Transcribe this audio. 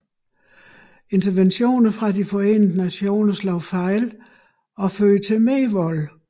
Interventioner fra de Forenede Nationer slog fejl og førte til mere vold